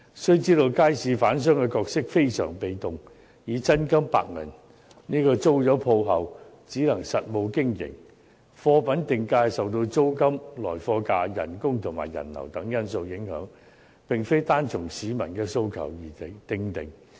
須知道，街市販商的角色非常被動，他們以真金白銀租鋪後，只能實務經營，貨品定價受到租金、來貨價、工資和人流等因素影響，並非單按市民的訴求而訂定。